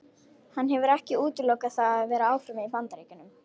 Hann hefur ekki útilokað það að vera áfram í Bandaríkjunum.